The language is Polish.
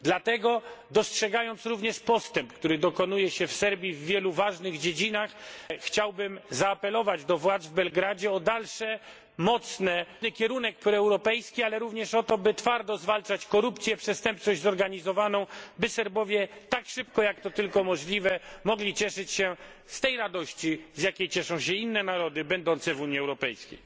Dlatego, dostrzegając również postęp, który dokonuje się w Serbii w wielu ważnych dziedzinach, chciałbym zaapelować do władz w Belgradzie o dalszy, mocny kierunek proeuropejski, ale również o to, by twardo zwalczać korupcję, przestępczość zorganizowaną, by Serbowie tak szybko, jak to tylko możliwe, mogli cieszyć się z tej radości, z jakiej cieszą się inne narody będące w Unii Europejskiej.